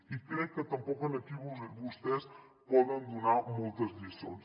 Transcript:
i crec que tampoc aquí vostès poden donar moltes lliçons